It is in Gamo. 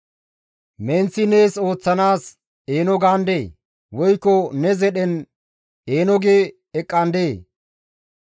«Menththi nees ooththanaas eeno gaandee? Woykko ne zedhen eeno gi eqqandee?